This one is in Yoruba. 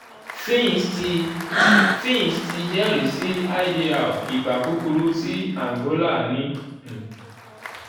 um fitch ti fitch ti jẹrisi idr igba kukuru ti angola ni um 'b'.